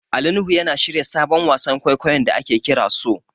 Ali Nuhu yana shirya sabon wasan kwaikwayon da ake kira So.